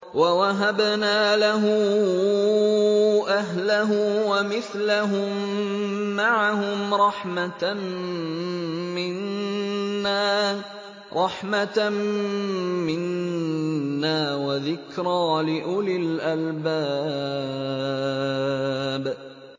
وَوَهَبْنَا لَهُ أَهْلَهُ وَمِثْلَهُم مَّعَهُمْ رَحْمَةً مِّنَّا وَذِكْرَىٰ لِأُولِي الْأَلْبَابِ